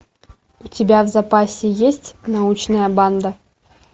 у тебя в запасе есть научная банда